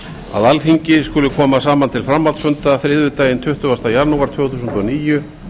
að alþingi skuli koma saman til framhaldsfunda þriðjudaginn tuttugasta janúar tvö þúsund og níu